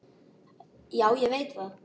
Já, ég veit það!